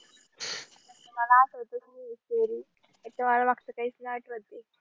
मला आठवतच नाहीये एक त्तर मला मागचा कैच नई आठवतंय